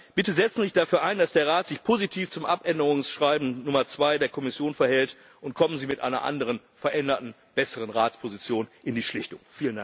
Bitte setzen Sie sich dafür ein, dass sich der Rat positiv zum Abänderungsschreiben Nummer 2 der Kommission verhält, und kommen Sie mit einer anderen, veränderten, besseren Ratsposition in die Schlichtung!